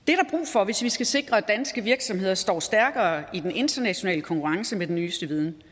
for hvis vi skal sikre at danske virksomheder står stærkere i den internationale konkurrence med den nyeste viden